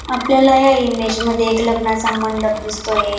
आपल्याला या इमेज मध्ये एक लग्नाचा मंडप दिसतोय.